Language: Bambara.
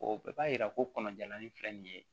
O bɛɛ b'a yira ko kɔnɔjalan nin filɛ nin ye